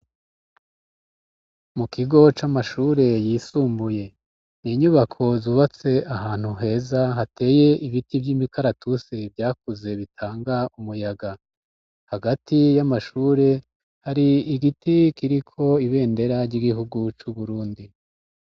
Mu kigo c'amashure yisumbuye, n'inyubako zubatse ahantu heza hateye ibiti vy'imikaratusi vyakuze bitanga umuyaga, hagati y'amashure hari igiti kiriko ibendera ry'igihugu c'u Burundi.